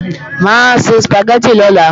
Mà á se Sùpàgẹ́tì lọ́la